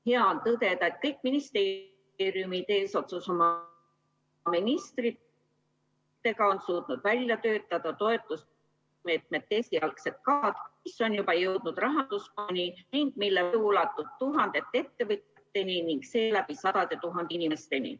Hea on tõdeda, et kõik ministeeriumid eesotsas oma ministriga on suutnud välja töötada toetusmeetmete esialgsed kavad, mis on juba jõudnud rahanduskomisjoni ning mille mõju ulatub tuhandete ettevõtjateni ning seeläbi sadade tuhandete inimesteni.